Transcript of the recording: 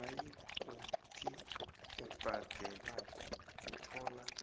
nayikuthi obhadelako uthola